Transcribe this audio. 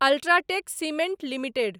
UltraTech Cement limited